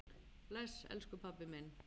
Bless, elsku pabbi minn.